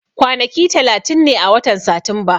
Kwanaki talatin ne a watan Satumba.